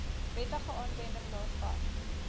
wettige aanwending daarvan